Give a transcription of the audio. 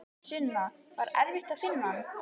Sunna: Var erfitt að finna hann?